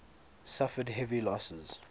suffered heavy losses